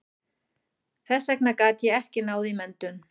Þess vegna gat ég ekki náð í menntun.